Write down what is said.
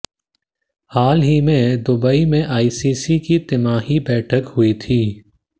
हाल ही में दुबई में आईसीसी की तिमाही बैठक हुई थी